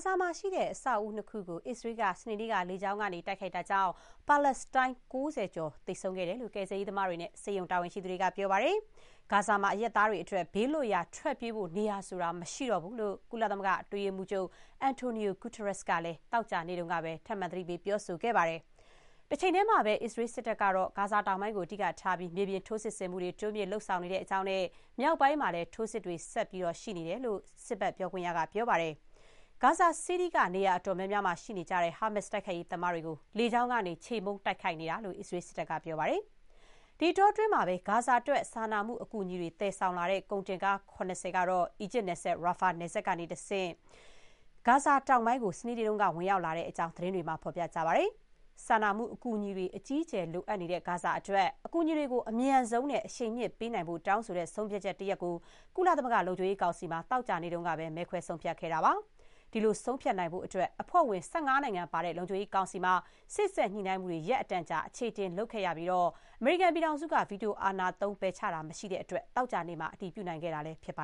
ဇာမှာရှိတဲ့ အဆောက်အဦးနှစ်ခုကို အစ္စရေးက စနေနေ့က လေကြောင်းကနေ တိုက်ခိုက်တာကြောင့် ပါလက်စတိုင်း ၉၀ ကျော် သေဆုံးခဲ့တယ်လို့ ကယ်ဆယ်ရေးသမားတွေနဲ့ ဆေးရုံအရာရှိတွေက ပြောပါတယ်။ ဂါဇာမှာ အရပ်သားတွေအတွက် ဘေးလွတ်ရာ ထွက်ပြေးဖို့နေရာဆိုတာ မရှိတော့ဘူးလို့ ကုလသမဂ္ဂ အတွင်းရေးမှူးချုပ် Antonio Guterres ကလည်း သောကြာနေ့ကပဲ သတိပေးပြောဆိုခဲ့ပါတယ်။ တချိန်တည်းမှာပဲ အစ္စရေးစစ်တပ်ကတော့ ဂါဇာတောင်ပိုင်းကို အဓိကထားပြီး မြေပြင်ထိုးစစ်ဆင်မှုတွေ တိုးမြှင့်လုပ်ဆောင်နေကြောင်းနဲ့ မြောက်ပိုင်းမှာလည်း ထိုးစစ်တွေ ဆက်ရှိနေကြောင်း စစ်ဘက် ပြောခွင့်ရက ပြောပါတယ်။ Gaza City က နေရာ အတော်များများမှာ ရှိနေကြတဲ့ ဟာမတ်စ် တိုက်ခိုက်ရေးသမားတွေကို လေကြောင်းကနေ ချေမှုန်း တိုက်ခိုက်နေတာလို့ အစ္စရေး စစ်တပ်က ပြောပါတယ်။ ဒီအတောအတွင်း ဂါဇာအတွက် စာနာမှုအကူအညီတွေ သယ်ဆောင်လာတဲ့ ကုန်တင်ကား ၇၀ ကတော့ အီဂျစ်နယ်စပ် Rafah နယ်စပ်ကတဆင့် ဂါဇာတောင်ပိုင်းကို စနေနေ့က ဝင်ရောက်လာတဲ့အကြောင်း သတင်းတွေမှာ ဖော်ပြကြပါတယ်။ စာနာမှု အကူအညီတွေ အကြီးအကျယ် လိုအပ်နေတဲ့ဂါဇာအတွက် အကူအညီတွေကို အမြန်ဆုံးနဲ့ အရှိန်မြှင့်ပေးနိုင်ဖို့ တောင်းဆိုတဲ့ဆုံးဖြတ်ချက်တရပ်ကိုတော့ ကုလသမဂ္ဂ လုံခြုံရေးကောင်စီမှာ သောကြာနေ့က မဲခွဲ ဆုံးဖြတ်ခဲ့တာပါ။ ဒီလို ဆုံးဖြတ်နိုင်ဖို့အတွက် အဖွဲ့ဝင် ၁၅ နိုင်ငံပါတဲ့ လုံခြုံရေးကောင်စီမှာ စေ့စပ်ညှိနှိုင်းမှုတွေ ရက်အတန်ကြာ အချေအတင်လုပ်ခဲ့ရပြီး အမေရိကန်က ဗီတိုအာဏာသုံး ပယ်ချတာမရှိတဲ့အတွက် သောကြာနေ့မှာ အတည်ပြုနိုင်ခဲ့တာလည်းဖြစ်ပ